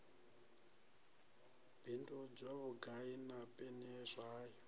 bindudzwa vhugai na peni zwayo